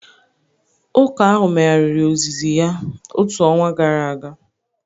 Ụka ahụ megharịrị ozizi ya otu ọnwa gara aga